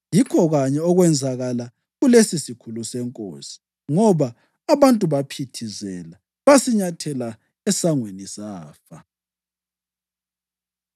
Yikho kanye okwenzakala kulesisikhulu senkosi, ngoba abantu baphithizela basinyathela esangweni, safa.